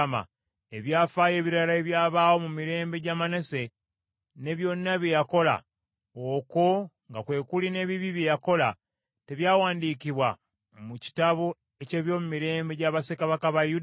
Ebyafaayo ebirala ebyabaawo mu mirembe gya Manase, ne byonna bye yakola, okwo nga kwe kuli n’ebibi bye yakola, tebyawandiikibwa mu kitabo eky’ebyomumirembe gya bassekabaka ba Yuda?